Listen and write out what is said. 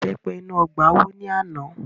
Ìbẹ́pẹ inú ọgbà wó ní àná